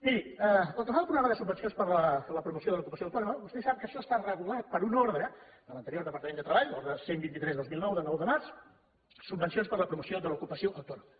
miri pel que fa al programa de subvencions per a la promoció de l’ocupació autònoma vostè sap que això està regulat per una ordre de l’anterior departament de treball ordre cent i vint tres dos mil nou de nou de març subvencions per a la promoció de l’ocupació autònoma